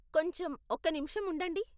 కొంచెం ఒక్క నిమిషం ఉండండి.